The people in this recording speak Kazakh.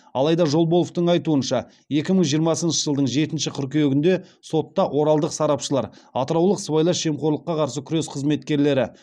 алайда жолболовтың айтуынша екі мың жиырмасыншы жылдың жетінші қыркүйегінде сотта оралдық сарапшылар атыраулық сыбайлас жемқорлыққа қарсы күрес қызметкерлері